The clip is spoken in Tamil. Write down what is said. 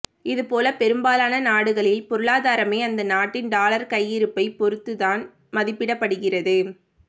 இது போல பெரும்பாலான நாடுகளின் பொருளாதாரமே அந்த நாட்டின் டாலர் கையிருப்பைப் பொறுத்துதான் மதிப்பிடப் படுகிறது